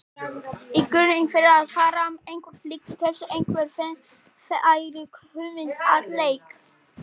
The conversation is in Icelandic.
Í grunninn fer það fram eitthvað líkt þessu: Einhver fær hugmynd að leik.